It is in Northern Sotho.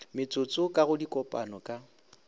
metsotso ka go dikopano ka